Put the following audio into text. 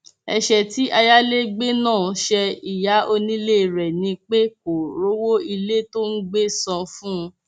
ẹṣẹ tí ayálégbé náà ṣe ìyá onílé rẹ ni pé kó rówó ilé tó ń gbé san fún un